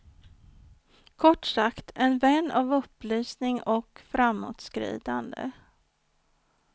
Kort sagt, en vän av upplysning och framåtskridande.